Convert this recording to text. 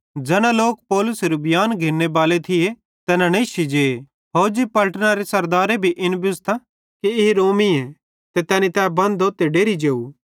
ज़ैना लोक पौलुसेरू बियांन घिन्ने बाले थिये तैना नेश्शी जे फौजी पलटनरे सरदारे भी इन बुझ़तां कि ई रोमीए ते तैनी तै बंधो ते डेरि जेव